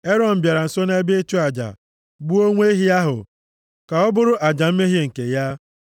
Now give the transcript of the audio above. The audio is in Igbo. Erọn bịara nso nʼebe ịchụ aja, gbuo nwa ehi ahụ ka ọ bụrụ aja mmehie nke ya.